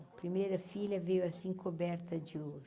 A primeira filha veio assim coberta de ouro.